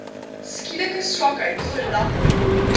skielike swakheid verlamming